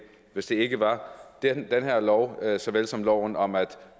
hvis det ikke var gennem den her lov såvel som loven om at